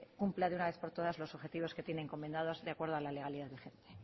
cumpla de una vez por todas los objetivos que tienen encomendados de acuerdo a la legalidad vigente